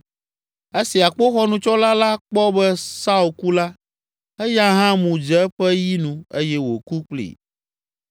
Esi akpoxɔnutsɔla la kpɔ be Saul ku la, eya hã mu dze eƒe yi nu eye wòku kplii.